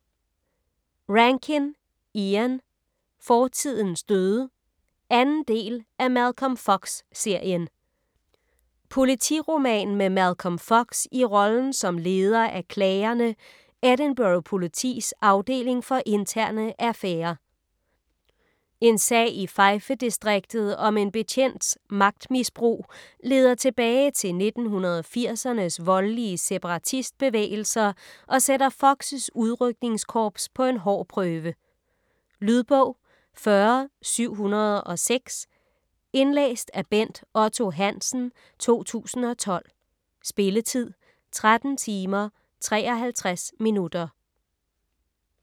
Rankin, Ian: Fortidens døde 2. del af Malcolm Fox-serien. Politiroman med Malcolm Fox i rollen som leder af Klagerne, Edinburgh politis afdeling for interne affærer. En sag i Fife distriktet om en betjents magtmisbrug leder tilbage til 1980'ernes voldelige separatistbevægelser og sætter Fox' udrykningskorps på en hård prøve. Lydbog 40706 Indlæst af Bent Otto Hansen, 2012. Spilletid: 13 timer, 53 minutter.